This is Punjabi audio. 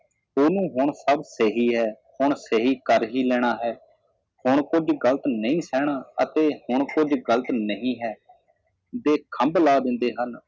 ਉਹਨੂੰ ਹੁਣ ਸਬ ਸਹੀ ਹੈ ਹੁਣ ਸਹੀ ਕਰ ਹੀ ਲੈਣਾ ਹੈ ਹੁਣ ਕੁੱਝ ਗਲਤ ਨਹੀ ਸਹਿਣਾ ਅਤੇ ਹੁਣ ਕੁੱਝ ਗਲਤ ਨਹੀਂ ਹੈ ਜੇ ਖੰਡ ਲਾ ਦਿੰਦੇ ਹਨ